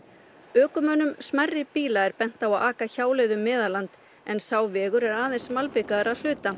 ökumönnum smærri bíla er bent á að aka hjáleið um Meðalland en sá vegur er aðeins malbikaður að hluta